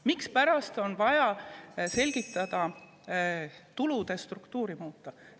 Mispärast on vaja tulude struktuuri muuta?